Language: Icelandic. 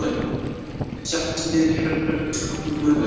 Þau settust niður í herbergiskompu Guðlaugs